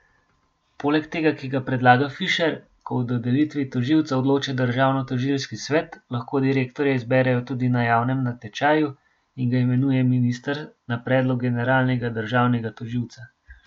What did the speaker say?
Poleg tega, ki ga predlaga Fišer, ko o dodelitvi tožilca odloča državnotožilski svet, lahko direktorja izberejo tudi na javnem natečaju in ga imenuje minister na predlog generalnega državnega tožilca.